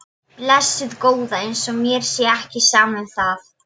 Blessuð góða. eins og mér sé ekki sama um það!